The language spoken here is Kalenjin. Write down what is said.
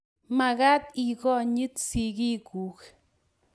magaat ikonyit sigiiguk